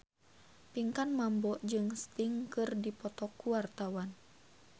Pinkan Mambo jeung Sting keur dipoto ku wartawan